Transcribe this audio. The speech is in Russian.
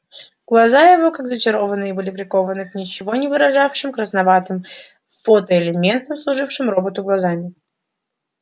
глаза его как зачарованные были прикованы к ничего не выражавшим красноватым фотоэлементам служившим роботу глазами